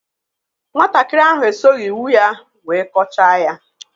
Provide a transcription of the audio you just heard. Nwatakịrị ahụ esoghị iwu ya wee kọchaa ya